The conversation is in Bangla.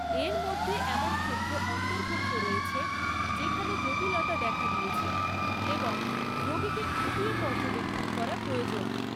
এর মধ্যে এমন ক্ষেত্র অন্তর্ভুক্ত রয়েছে যেখানে জটিলতা দেখা দিয়েছে এবং রোগিকে খুঁটিয়ে পর্যবেক্ষণ করা প্রয়োজন।